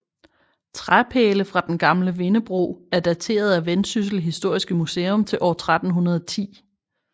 Træpæle fra den gamle vindebro er dateret af Vendsyssel Historiske Museum til år 1310